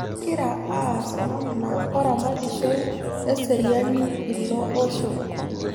Kegira aas namna oramatishoi eseriani ilo osho